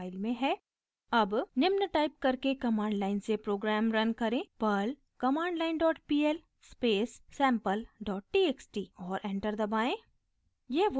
अब निम्न टाइप करके कमांड लाइन से प्रोग्राम रन करें: perl commandline dot pl space sample dot txt और एंटर दबाएं